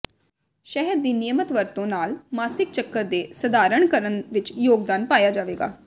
ਸ਼ਹਿਦ ਦੀ ਨਿਯਮਤ ਵਰਤੋਂ ਨਾਲ ਮਾਸਿਕ ਚੱਕਰ ਦੇ ਸਧਾਰਣਕਰਨ ਵਿੱਚ ਯੋਗਦਾਨ ਪਾਇਆ ਜਾਵੇਗਾ